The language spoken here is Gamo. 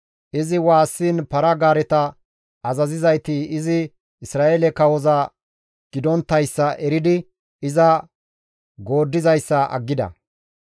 Izi waassiin para-gaareta azazizayti izi Isra7eele kawoza gidonttayssa eridi iza gooddizayssa aggida.